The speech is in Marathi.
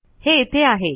हे इथे आहे